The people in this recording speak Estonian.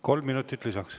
Kolm minutit lisaks.